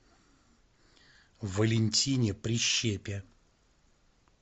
валентине прищепе